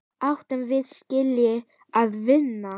Áttum við skilið að vinna?